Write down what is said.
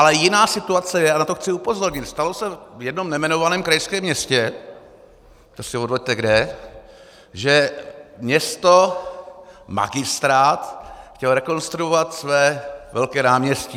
Ale jiná situace je, a na to chci upozornit, stalo se v jednom nejmenovaném krajském městě, to si odvoďte kde, že město, magistrát chtěl rekonstruovat své velké náměstí.